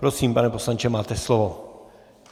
Prosím, pane poslanče, máte slovo.